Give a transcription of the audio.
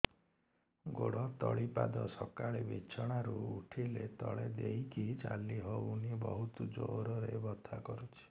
ଗୋଡ ତଳି ପାଦ ସକାଳେ ବିଛଣା ରୁ ଉଠିଲେ ତଳେ ଦେଇକି ଚାଲିହଉନି ବହୁତ ଜୋର ରେ ବଥା କରୁଛି